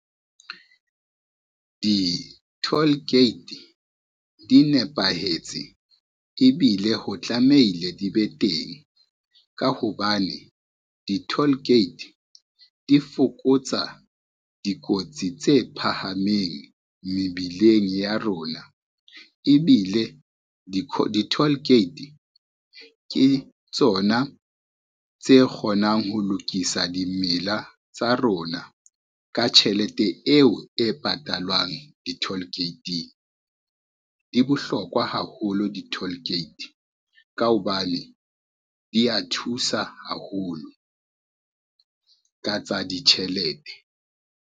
Di-toll gate di nepahetse ebile ho tlameile di be teng, ka hobane di-toll gate di fokotsa dikotsi tse phahameng mebileng ya rona, ebile di-toll gate ke tsona tse kgonang ho lokisa dimmila tsa rona ka tjhelete eo e patalwang di-toll gate-ing. Di bohlokwa haholo di-toll gate ka hobane di ya thusa haholo ka tsa ditjhelete.